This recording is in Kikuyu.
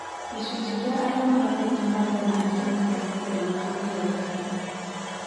Gĩcunjĩ kĩa arĩa magatĩte marũa na arĩa matagatĩte nĩkĩongerereka